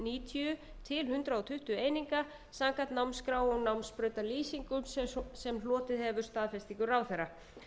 níutíu til hundrað tuttugu eininga samkvæmt námsskrá og námsbrautalýsingum sem hlotið hefur staðfestingu ráðherra